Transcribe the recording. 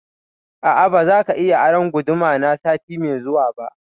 A'a, ba za ka iya aron guduma na sati mai zuwa ba